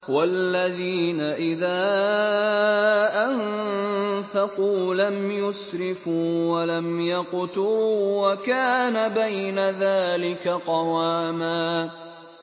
وَالَّذِينَ إِذَا أَنفَقُوا لَمْ يُسْرِفُوا وَلَمْ يَقْتُرُوا وَكَانَ بَيْنَ ذَٰلِكَ قَوَامًا